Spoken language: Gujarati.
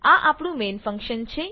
આ આપણું મેન ફંક્શન છે